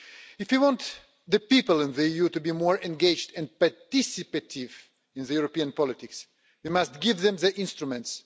If we want people in the EU to be more engaged and participative in European politics, we must give them the instruments.